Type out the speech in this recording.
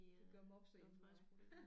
Det gør mopser hjemme ved mig